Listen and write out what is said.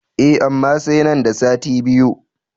E, amma sai nan da sati biyu.